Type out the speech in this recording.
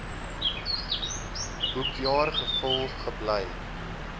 boekjaar gevul gebly